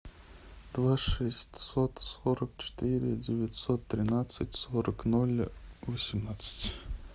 два шестьсот сорок четыре девятьсот тринадцать сорок ноль восемнадцать